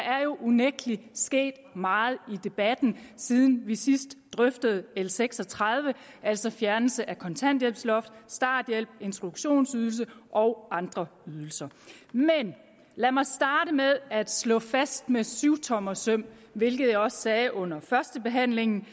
er jo unægtelig sket meget i debatten siden vi sidst drøftede l seks og tredive altså fjernelse af kontanthjælpsloftet starthjælpen introduktionsydelsen og andre ydelser men lad mig starte med at slå fast med syvtommersøm hvilket jeg også sagde under førstebehandlingen